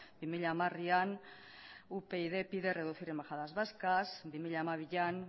bi mila hamarean upyd pide reducir embajadas vascas bi mila hamabian